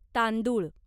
तांदुळ